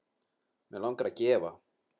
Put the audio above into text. Mig langar að gefa.